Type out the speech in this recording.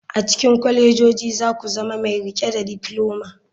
A cikin kwalejoji za ku zama mai riƙe da difloma.